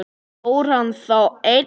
Fór hann þá einn?